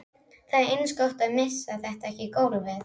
Honum finnst hún hugsa á öðrum nótum en flestar stelpur.